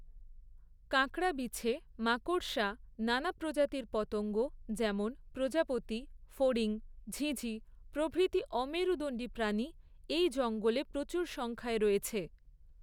কাঁকড়াবিছে, মাকড়সা, নানা প্রজাতির পতঙ্গ, যেমন প্রজাপতি, ফড়িং, ঝিঁঝিঁ প্রভৃতি অমেরুদণ্ডী প্রাণী এই জঙ্গলে প্রচুর সংখ্যায় রয়েছে।